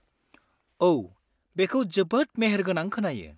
औ, बेखौ जोबोद मेहेरगोनां खोनायो!